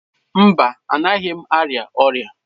Mba, anaghị m arịa ọrịa.